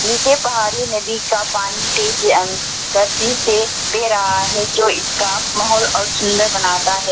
नीचे पहाड़ी नदी का पानी तेज अं गति से बह रहा है जो इसका माहौल और सुंदर बनाता है।